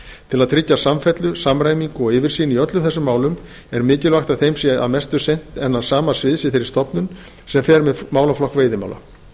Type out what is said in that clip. til að tryggja samfellu samræmingu og yfirsýn í öllum þessum málum er mikilvægt að þeim sé að mestu sinnt innan sama sviðs í þeirri stofnun sem fer með málaflokk veiðimála